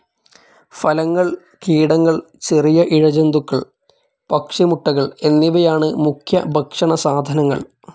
ഫലങ്ങൾ, കീടങ്ങൾ, ചെറിയ ഇഴജന്തുക്കൾ പക്ഷി മുട്ടകൾ എന്നിവയാണ് മുഖ്യഭക്ഷണ സാധനങ്ങൾ.